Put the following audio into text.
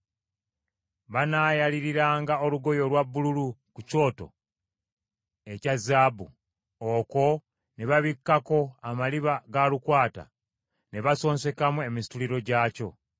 “Banaayaliiranga olugoye olwa bbululu ku kyoto ekya zaabu, okwo ne babikkako amaliba ga lukwata, ne basonsekamu emisituliro gyakyo.